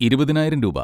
ഇരുപതിനായിരം രൂപ.